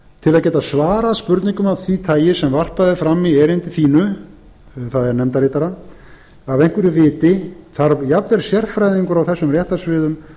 til að geta svarað spurningum af því tagi sem varpað er fram í erindi þínu það er nefndarritara af einhverju viti þarf jafnvel sérfræðingur á þessum réttarsviðum